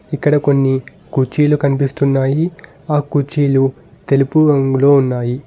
ఇక్కడ కొన్ని కుర్చీలు కనిపిస్తున్నాయి ఆ కుర్చీలు తెలుపు రంగులో ఉన్నాయి.